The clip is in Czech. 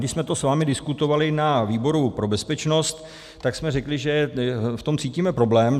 Když jsme to s vámi diskutovali na výboru pro bezpečnost, tak jsme řekli, že v tom cítíme problém.